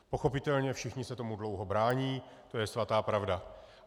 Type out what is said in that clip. Pochopitelně všichni se tomu dlouho brání, to je svatá pravda.